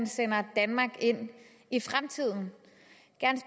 sender danmark ind i fremtiden